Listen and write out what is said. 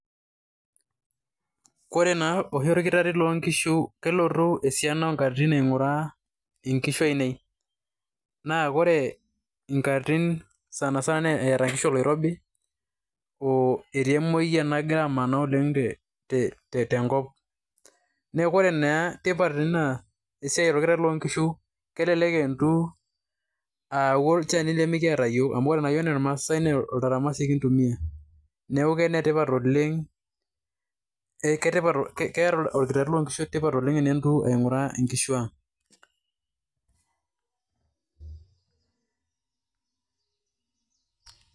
Koree naa oshi olkitarri loonkishu kelotu esiana oonkatitin aing'uraa inkishu ainei. Naa kore inkatitin sani sana eeta nkishu oloirobi oo etii emoyian nagira amanaa oleng' tenkop. Neeku ore naa tipat ina esiai olkitarri loonkishu kelelek elotu ayau olchani limikiyata yiok amu ore naa oltaramasi kintumiyia. Neeku keeta olkitarri loonkishu tipat oleng' tenelotu aing'uraa inkishu ang'.